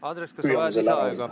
Andres, kas sa vajad lisaaega?